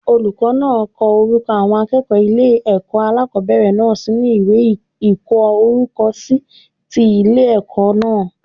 Olùkó náà ko orúko àwọn akéèkòó ile èkó alákòóbèrè náà sínú ìwé ìkó orúkọ si ti Ile èkó náà